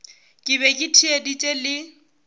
ke be ke theeditše le